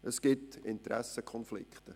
Es gibt Interessenkonflikte.